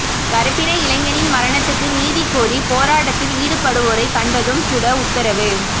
கறுப்பின இளைஞனின் மரணத்துக்கு நீதி கோரி போராட்டத்தில் ஈடுபடுவோரை கண்டதும் சுட உத்தரவு